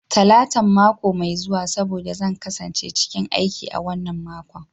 Talatan mako mai zuwa saboda zan kasance cikin aiki a wannan makon.